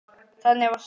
Þannig varst þú.